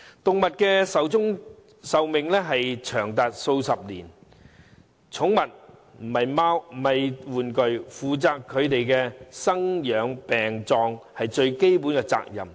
動物壽命長達數十年，寵物不是玩具，負責牠們的生、養、病和葬是飼養者最基本的責任。